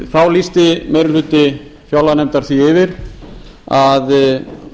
þá lýsti meiri hluti fjárlaganefndar því yfir að